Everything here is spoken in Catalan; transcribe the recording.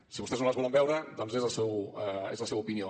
si vostès no les volen veure doncs és la seva opinió